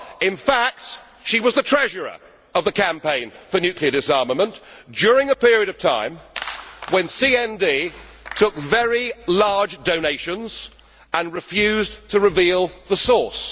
In fact, she was the treasurer of the Campaign for Nuclear Disarmament during a period of time when CND took very large donations and refused to reveal the source.